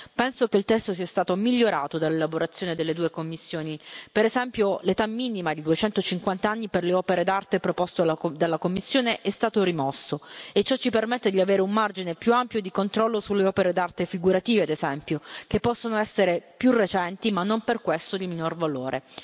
Penso che il testo sia stato migliorato dall'elaborazione delle due commissioni per esempio l'età minima di 250 anni per le opere d'arte proposto dalla Commissione è stato rimosso e ciò ci permette di avere un margine più ampio di controllo sulle opere d'arte figurative, ad esempio, che possono essere più recenti ma non per questo di minor valore.